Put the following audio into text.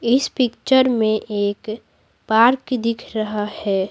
इस पिक्चर में एक पार्क दिख रहा है।